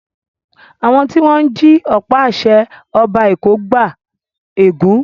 Àwọn tí wọ́n jí ọ̀pá-àṣẹ Ọba Èkó gba ègún.